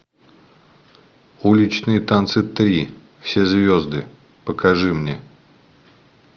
уличные танцы три все звезды покажи мне